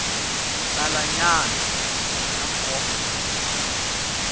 talanyana ta nkoka na tona